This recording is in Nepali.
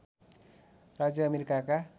राज्य अमेरिकाका